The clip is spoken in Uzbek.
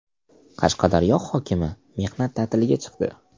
Qashqadaryo hokimi mehnat ta’tiliga chiqdi.